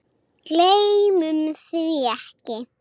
Gleymum því ekki.